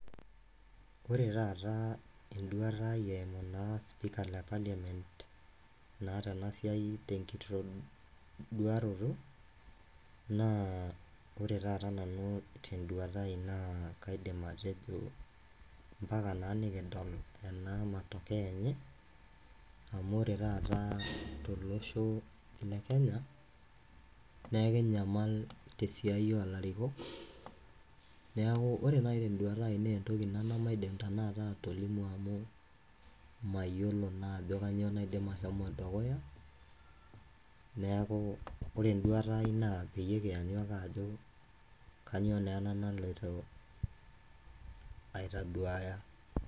Ore taata eduata ai eimu sipika le Parliament naa tena siai tekitoduaroto naa ore taata te duata ai naa kaidim atejo mpaka naa nikidol ena matokeo enye amu ore taata tolosho le kenya neekinyamal te siai oo larikok neaku ore naaji te duata ai na etoki ina nemaidim tenakata atolimu amu mayiolo naa ajo kainyioo naidim ashomo dukuya neaku ore enduata ai naa peekianyu peeliki iyiok ajo kainyioo naa ena naloito aitaduaya.